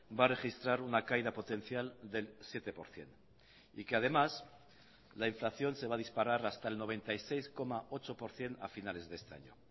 va a registrar una caída potencial del siete por ciento y que además la inflación se va a disparar hasta el noventa y seis coma ocho por ciento a finales de este año